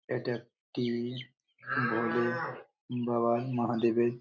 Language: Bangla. এটা একটি বড়ো বাবা মহাদেবের--